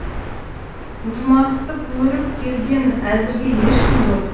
ұжмақты көріп келген әзірге ешкім жоқ